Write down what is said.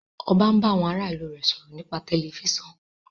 ọba n bá àwọn àrà ilu rẹ sọrọ nipasẹ Tẹlifísàn